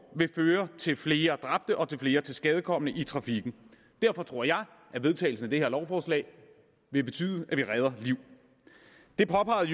vil føre til flere dræbte og til flere tilskadekomne i trafikken derfor tror jeg at vedtagelsen af det her lovforslag vil betyde at vi redder liv det påpegede